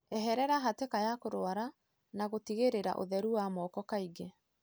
Eherera hatĩka ya kũrwara na gũtigĩrĩra ũtheru wa moko kaingĩ.